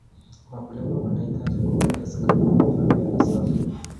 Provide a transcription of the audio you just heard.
Wakulima wanahitaji kuwekeza katika vifaa vya kisasa.